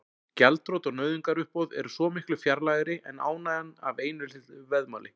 Gjaldþrot og nauðungaruppboð eru svo miklu fjarlægari en ánægjan af einu litlu veðmáli.